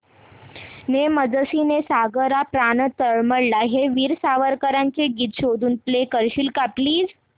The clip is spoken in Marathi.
ने मजसी ने सागरा प्राण तळमळला हे वीर सावरकरांचे गीत शोधून प्ले करशील का प्लीज